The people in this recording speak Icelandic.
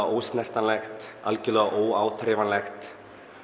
ósnertanlegt algjörlega óáþreifanlegt